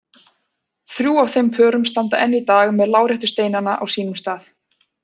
Þrjú af þeim pörum standa enn í dag með láréttu steinana á sínum stað.